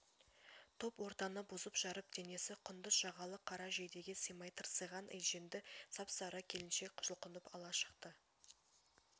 топ ортаны бұзып-жарып денесі құндыз жағалы қара жейдеге симай тырсиған етжеңді сап-сары келіншек жұлқынып алға шықты